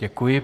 Děkuji.